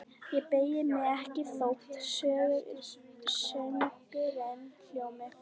Ég beygi mig ekki þótt söngurinn hljómi: